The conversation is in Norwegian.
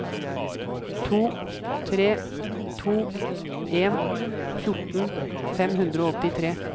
to tre to en fjorten fem hundre og åttitre